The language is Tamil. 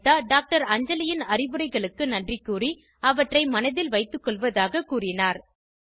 அனிதா டாக்டர் அஞ்சலின் அறிவுரைகளுக்கு நன்றி கூறி அவற்றை மனதில் வைத்துக்கொள்வதாக கூறினார்